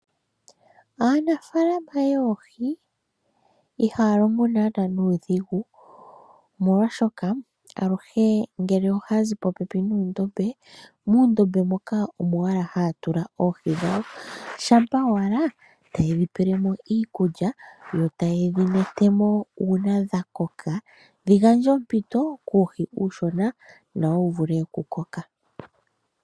Aanafaalama yoohi ihaa longo naanaa nuudhigu molwaashoka, aluhe ngele ohaazi popepi muundombe muundombe moka omo owala haa tula oohi dhawo shampa owala tayedhi pelemo iikulya yotayedhi netemo uuna dhakoka dhigandje ompito kuuhi uushona nowuvule okukoka.